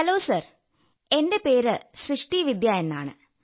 hello sir എന്റെ പേര് സൃഷ്ടി വിദ്യാ എന്നാണ്